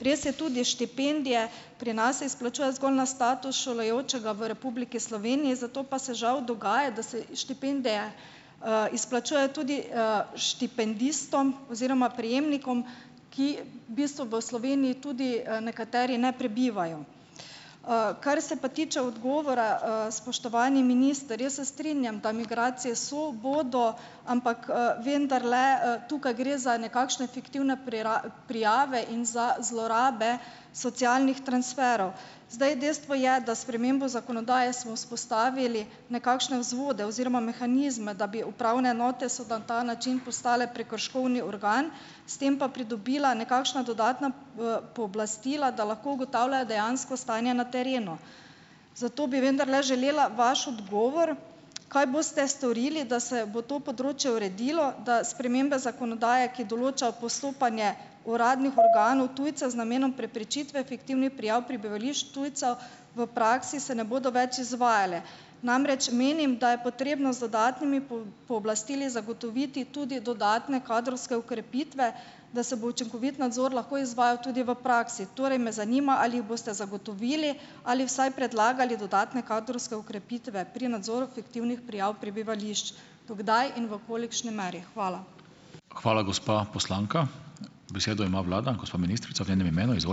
Gre se tudi štipendije - pri nas se izplačujejo zgolj na status šolajočega v Republiki Sloveniji, zato pa se žal dogaja, da se štipendije, izplačujejo tudi, štipendistom oziroma prejemnikom, ki v bistvu v Sloveniji tudi, nekateri ne prebivajo. Kar se pa tiče odgovora, spoštovani minister, jaz se strinjam, da migracije so, bodo, ampak, vendarle, tukaj gre za nekakšne fiktivne prijave in za zlorabe socialnih transferov. Zdaj, dejstvo je, da s spremembo zakonodaje smo vzpostavili nekakšne vzvode oziroma mehanizme, da bi upravne enote, so na ta način postale prekrškovni organ, s tem pa pridobila nekakšna dodatna, pooblastila, da lahko ugotavljajo dejansko stanje na terenu. Zato bi vendarle želela vaš odgovor, kaj boste storili, da se bo to področje uredilo? Da spremembe zakonodaje, ki določajo postopanje uradnih organov tujce z namenom preprečitve fiktivnih prijav prebivališč tujcev, v praksi se ne bodo več izvajale. Namreč menim, da je potrebno z dodatnimi pooblastili zagotoviti tudi dodatne kadrovske okrepitve, da se bo učinkovit nadzor lahko izvajal tudi v praksi. Torej me zanima, ali jih boste zagotovili ali vsaj predlagali dodatne kadrovske okrepitve pri nadzoru fiktivnih prijav prebivališč, do kdaj in v kolikšni meri. Hvala.